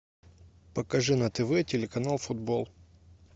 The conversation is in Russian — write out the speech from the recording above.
покажи на тв телеканал футбол